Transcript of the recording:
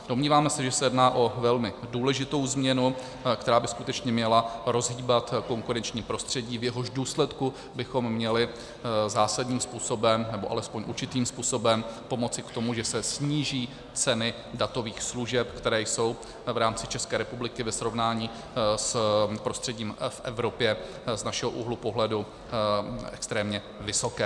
Domníváme se, že se jedná o velmi důležitou změnu, která by skutečně měla rozhýbat konkurenční prostředí, v jehož důsledku bychom měli zásadním způsobem, nebo alespoň určitým způsobem pomoci k tomu, že se sníží ceny datových služeb, které jsou v rámci České republiky ve srovnání s prostředím v Evropě z našeho úhlu pohledu extrémně vysoké.